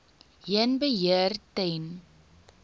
heen beheer ten